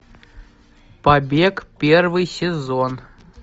побег первый сезон